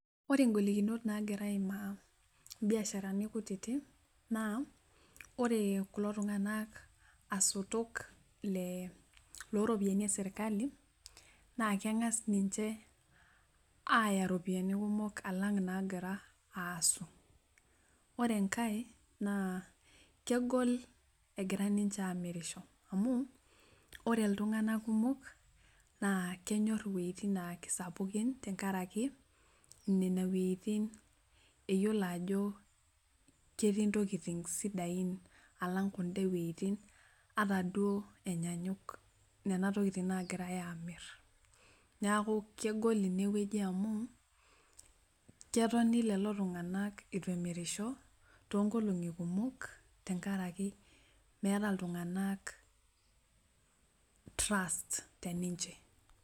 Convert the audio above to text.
Ore ngolikinot nagira aimaa mbiasharani kutitik na ore kulo tunganak asotok loropoyiani eserkali na kengas ninche aya ropiyani kumol alang nagira aasu ore enkae na kegol egira ninche amirisho amu ore ltunganak kumok na kenyor wuejitin na kesapukin nene wuejetin iyiolo ajo ketiii ntokitin sidai alang nkulie wuejitin atan duo enyanyuk kuna tokitin nagira amir neaku kegol inewueji amu ketoni lolotunganak ituemirisho tenkaraki meeta ltunganak trust te ninche.